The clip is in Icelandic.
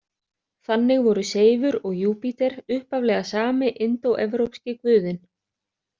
Þannig voru Seifur og Júpíter upphaflega sami indóevrópski guðinn.